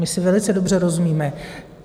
My si velice dobře rozumíme.